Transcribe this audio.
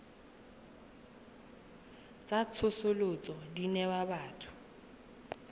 tsa tsosoloso di newa batho